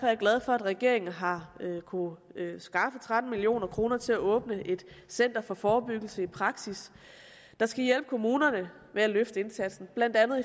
jeg glad for at regeringen har kunnet skaffe tretten million kroner til at åbne et center for forebyggelse i praksis der skal hjælpe kommunerne med at løfte indsatsen blandt andet